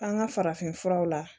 An ka farafin furaw la